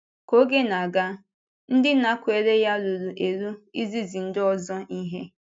Ka oge na-aga, ndị nakwere ya ruru eru izizi ndị ọzọ ihe.